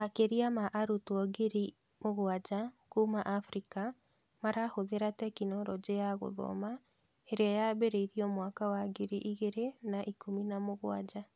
Makĩria ma arutwo ngiri mũgwanja kuma Afrika marahũthĩra tekinoronjĩ ya gũthoma ĩrĩa yambĩrĩirio mwaka wa ngiri igĩrĩ na ikũmi na mũgwanja.